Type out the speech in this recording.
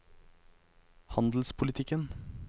handelspolitikken